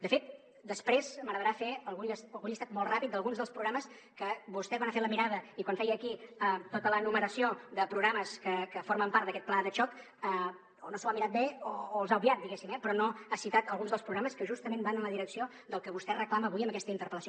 de fet després m’agradarà fer algun llistat molt ràpid d’alguns dels programes que vostè quan ha fet la mirada i quan feia aquí tota l’enumeració de programes que formen part d’aquest pla de xoc o no s’ho ha mirat bé o els ha obviat diguéssim eh però no ha citat alguns dels programes que justament van en la direcció del que vostè reclama avui amb aquesta interpel·lació